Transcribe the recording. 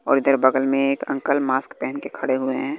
और इधर बगल में एक अंकल मास्क पहन के खड़े हुए हैं।